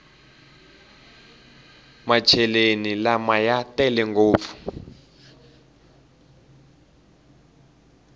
macheleni lama ya tele ngopfu